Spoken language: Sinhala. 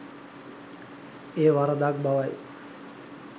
එය වරදක් බවයි.